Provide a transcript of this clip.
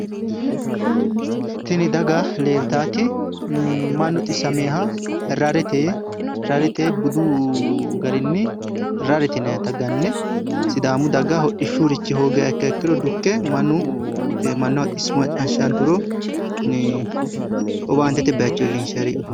Tini daga leeltaati mannu xissameeha rarete budu garinni rarete yinayita ganne sidaamu daga hodhishshurichi hoogiha ikkiakkiro dukke mannaho xisso macciishshanturo owaantete bayichcho illinshayireeti